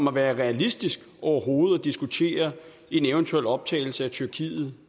at være realistisk overhovedet at diskutere en eventuel optagelse af tyrkiet